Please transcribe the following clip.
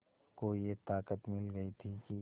को ये ताक़त मिल गई थी कि